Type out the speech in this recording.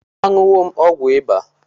A ṅụọla m ọgwụ ịba